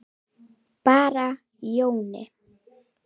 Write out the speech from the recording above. Bara Jóni.